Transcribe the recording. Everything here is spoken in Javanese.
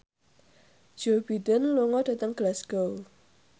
Joe Biden lunga dhateng Glasgow